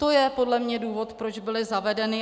To je podle mě důvod, proč byly zavedeny.